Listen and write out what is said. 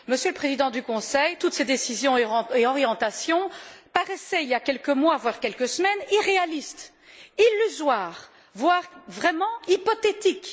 Monsieur le Président du Conseil européen, toutes ces décisions et orientations paraissaient il y a quelques mois, voire quelques semaines, irréalistes, illusoires, voire vraiment hypothétiques.